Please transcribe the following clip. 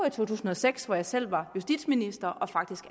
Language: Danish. i to tusind og seks hvor jeg selv var justitsminister og faktisk